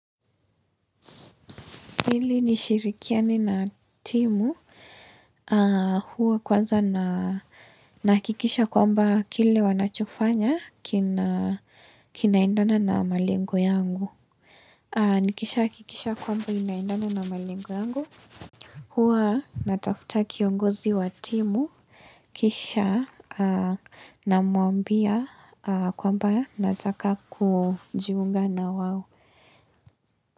Hili nishirikiane na timu, huwa kwanza nahakikisha kwamba kile wanachofanya kinaendana na malengo yangu. Nikisha hakikisha kwamba inaendana na malengo yangu, huwa natafuta kiongozi wa timu, kisha namwambia kwamba nataka kujiunga na wao.